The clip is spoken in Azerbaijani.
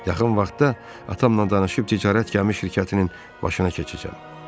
Yaxın vaxtda atamla danışıb ticarət gəmi şirkətinin başına keçəcəm.